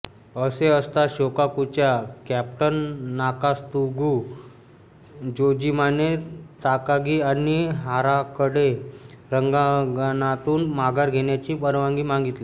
असे असता शोकाकुच्या कॅप्टन ताकात्सुगु जोजिमाने ताकागी आणि हाराकडे रणांगणातून माघार घेण्याची परवानगी मागितली